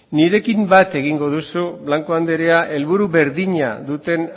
nirekin bat egingo duzu blanco andrea helburu berdina duten